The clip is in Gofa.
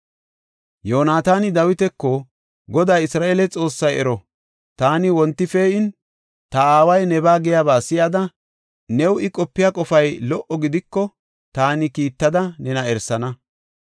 Yoonataani Dawitako, “Goday Isra7eele Xoossay ero, taani wonti pee7in ta aaway nebaa giyaba si7ada new I qopiya qofay lo77o gidiko taani kiittada nena erisana.